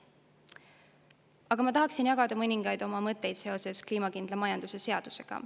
Aga ma tahaksin jagada mõningaid oma mõtteid seoses kliimakindla majanduse seadusega.